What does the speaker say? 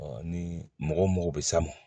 ni mɔgɔ bɛ s'a ma